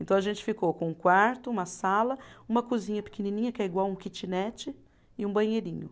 Então a gente ficou com um quarto, uma sala, uma cozinha pequenininha, que é igual um kitnet e um banheirinho.